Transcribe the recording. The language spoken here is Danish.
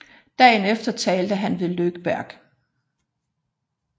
Dagen efter talte han ved Lögberg